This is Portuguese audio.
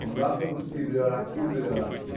Não dá para você melhorar aqui e não melhorar aqui.